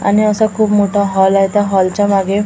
आणि असा खूप मोठा हॉल आहे त्या हॉलच्या मागे--